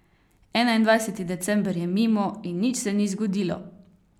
Enaindvajseti december je mimo in nič se ni zgodilo!